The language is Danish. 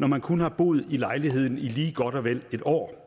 når man kun har boet i lejligheden i lige godt og vel et år